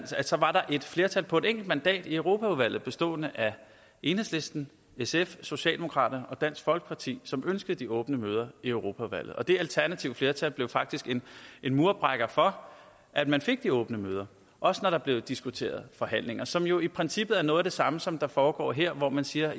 var der et flertal på et enkelt mandat i europaudvalget bestående af enhedslisten sf socialdemokraterne og dansk folkeparti som ønskede de åbne møder i europaudvalget det alternative flertal blev faktisk en murbrækker for at man fik de åbne møder også når der blev diskuteret forhandlinger som jo i princippet er noget af det samme som foregår her hvor man siger